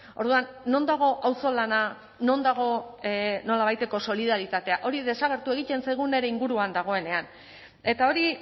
orduan non dago auzolana non dago nolabaiteko solidaritatea hori desagertu egiten zaigu nire inguruan dagoenean eta hori